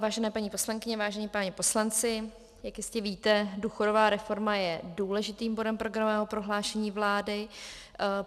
Vážené paní poslankyně, vážení páni poslanci, jak jistě víte, důchodová reforma je důležitým bodem programového prohlášení vlády.